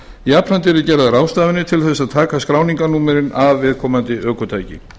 jafnframt yrðu gerðar ráðstafanir til þess að taka skráningarnúmerin af viðkomandi ökutæki